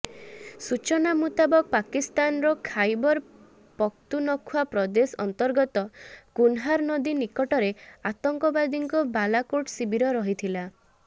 ସୂଚନା ମୁତାବକ ପାକିସ୍ତାନର ଖାଇବର ପଖତୁନଖ୍ବା ପ୍ରଦେଶ ଅନ୍ତର୍ଗତ କୁନହାର ନଦୀ ନିକଟରେ ଆତଙ୍କବାଦୀଙ୍କ ବାଲାକୋଟ ଶିବିର ରହିଥିଲା